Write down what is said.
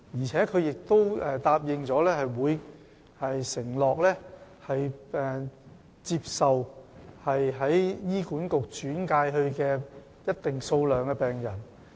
此外，中大醫院也承諾會接收由醫管局轉介的一定數目的病人。